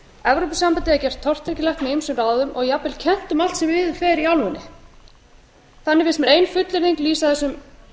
evrópusambandið er gert tortryggilegt með ýmsum ráðum og jafnvel kennt um allt sem miður fer í álfunni þannig finnst mér ein fullyrðing lýsa þessum